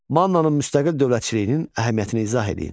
Mannanın müstəqil dövlətçiliyinin əhəmiyyətini izah eləyin.